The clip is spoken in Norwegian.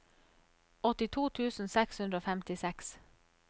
åttito tusen seks hundre og femtiseks